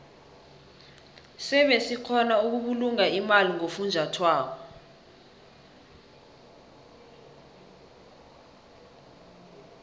sebe sikgona ukubulunga imali ngofunjathwako